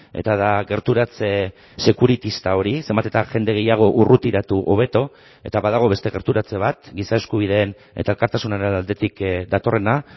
eta da gerturatze sekuritista hori zenbat eta jende gehiago urrutiratu hobeto eta badago beste gerturatze bat giza eskubideen eta elkartasunaren aldetik datorrena